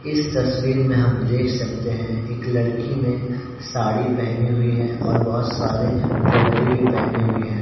इस तस्वीर में हम देख सकते हैं एक लड़की ने साड़ी पहनी हुई है और बहोत सारी ज्वेलरी भी पहनी हुई हैं।